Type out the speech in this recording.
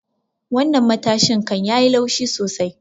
Wannan matashin kan yayi laushi sosai.